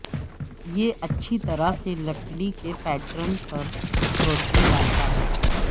یہ اچھی طرح سے لکڑی کے پیٹرن پر روشنی ڈالتا ہے